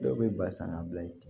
Dɔw bɛ ba san ka bila i kun